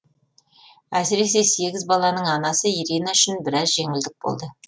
әсіресе сегіз баланың анасы ирина үшін біраз жеңілдік болды